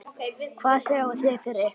Hvað sjáið þið fyrir ykkur?